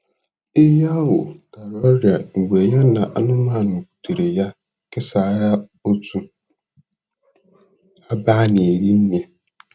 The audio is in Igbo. Ehi ahụ dara ọrịa mgbe ya na anụmanụ butere ya kesara otu ebe a na-eri nri.